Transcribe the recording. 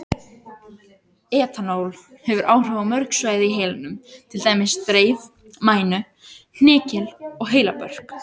Etanól hefur áhrif á mörg svæði í heilanum, til dæmis dreif, mænu, hnykil og heilabörk.